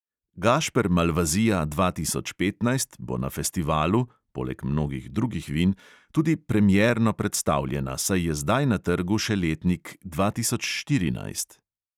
Gašper malvazija dva tisoč petnajst bo na festivalu (poleg mnogih drugih vin) tudi premierno predstavljena, saj je zdaj na trgu še letnik dva tisoč štirinajst.